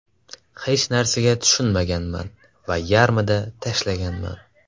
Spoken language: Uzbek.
Hech narsaga tushunmaganman va yarmida tashlaganman.